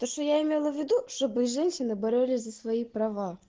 то что я имела в виду чтобы женщины боролись за свои права